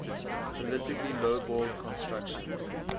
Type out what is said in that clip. politically lowballed construction